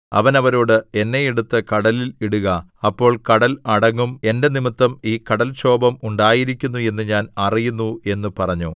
അവൻ അവരോട് എന്നെ എടുത്ത് കടലിൽ ഇടുക അപ്പോൾ കടൽ അടങ്ങും എന്റെ നിമിത്തം ഈ കടൽക്ഷോഭം ഉണ്ടായിരിക്കുന്നു എന്ന് ഞാൻ അറിയുന്നു എന്നു പറഞ്ഞു